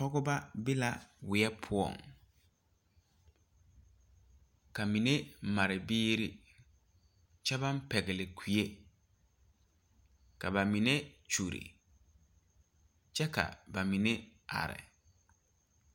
Dɔbɔ ne pɔɔbɔ la ka ba ba bone ka dɔɔ vare a leɛ popelaa ka kaŋa gbi kyɛ vɔgle zupile su kparepelaa ka kaŋa are a su kparetapɛloŋ a pɛgle bɔɔduaa vaare.